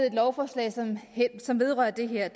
et lovforslag som vedrører det her